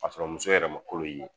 K'a sɔrɔ muso yɛrɛ ma kolo ye.